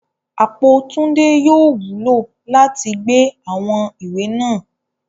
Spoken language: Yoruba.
Apo Tunde yóò wulo lati gbe awọn iwe naa